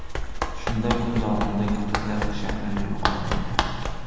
Shunda kun davomida kipriklar shaklini yo‘qotmaydi.